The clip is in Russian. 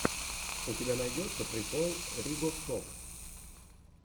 у тебя найдется прикол ригоф топ